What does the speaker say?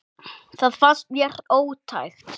Það fannst mér ótækt.